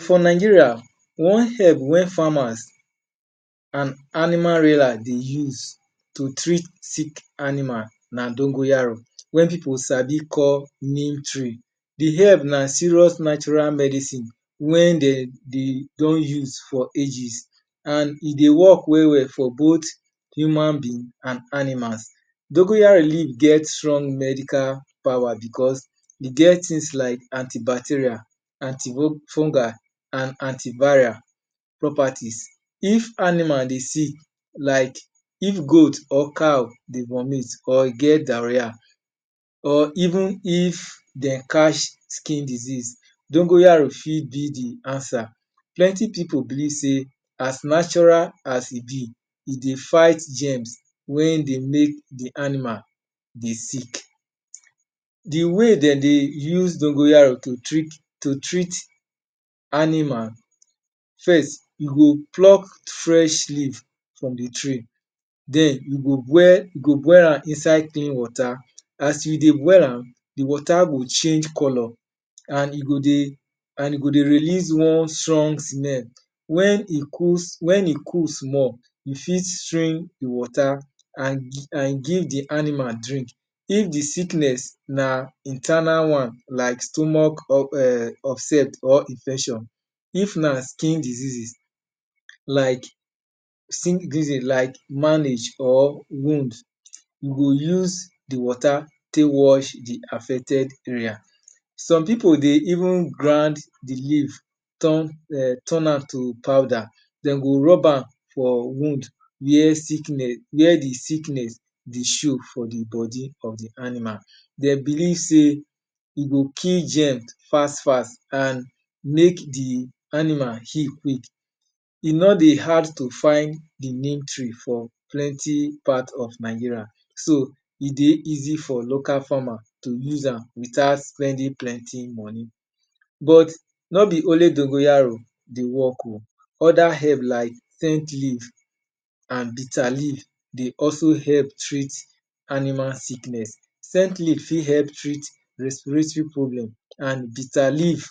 For Nigeria, one herb wey farmers an animal rearer dey use to treat sick animal na dongoyaro. wey pipu sabi call "Neem tree". The herb na serious natiral medicine wey de dey don use for ages. An e dey work well-well for both human being an animals. Dongoyaro leaf get strong medical power becos e get tins like antibacteria, antifungal an antiviral prperties. If animal dey sick, like of goat or cow dey vomit or e get diarrhea, or even if de catch skin disease, dongoyaro fit be the answer. Plenty pipu believe sey as natural as e be, e dey fight germs wey dey make the animal dey sick. The way de dey use dongoyaro to treat animal: First, you go pluck fresh leaf from the tree. Then, you go boil am inside clean water. As you dey boil am, the water go change colour an e go dey release one strong smell. When e cool small, you fit the water an give the animal drink. If the sickness na internal one like stomach er upset or infection, if na skin diseases, like or wound, you go use the water take wash the affected area. Some pipu dey even grind the leaf turn am to powder. De go rub am for wound where the sickness dey show for the body of the animal. De believe sey e go kill germ fas-fas an make the animal heal quick. E no dey hard to find the neem tree for plenty part of Nigeria. So, e dey easy for local farmer to use am without spending plenty money But no be only dongoyaro dey work oh. Other herb like scent leaf an bitter leaf dey also help treat animal sickness. Scent leaf fit help treat respiratory problem an bitter leaf